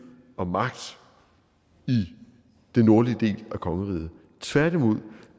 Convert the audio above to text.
og magt i den nordlige del af kongeriget tværtimod